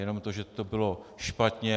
Jenom to, že to bylo špatně.